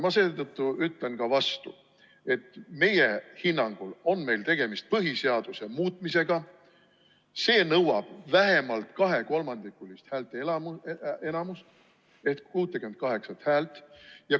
Ma seetõttu ütlen ka vastu, et meie hinnangul on meil tegemist põhiseaduse muutmisega ja see nõuab vähemalt kahekolmandikulist häälteenamust ehk 68 häält.